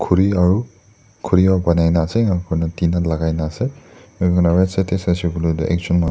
khuri aru khuri or banai ni ase aru tina lagaine ase aru saise koile tu ejon manu--